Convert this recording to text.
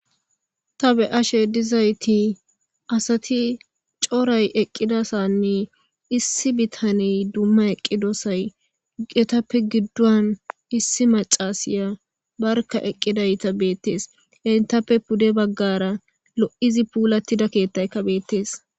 Ta be ashe dizayti asati coray eqqida sanne issi bitaney dumma eqqidosay guqetappe giddon issi macasiya barka eqqidayta beettees hentappe pude baggara lo7izi puulattida keettayka beettees